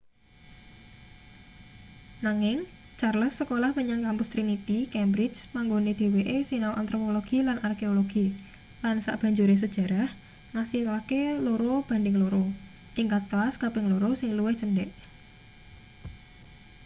nanging charles sekolah menyang kampus trinity cambridge panggone dheweke sinau antropologi lan arkeologi lan sabanjure sejarah ngasilake 2:2 tingkat kelas kaping loro sing luwih cendhek